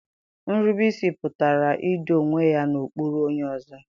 Nrubeisi pụtara ido onwe ya n'okpuru onye ọzọ.